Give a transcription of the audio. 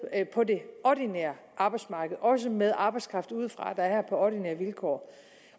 på det ordinære arbejdsmarked også med arbejdskraft udefra der er her på ordinære vilkår